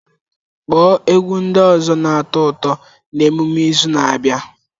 Kpọọ egwu ndị ọzọ na-atọ ụtọ na emume izu na-abịa!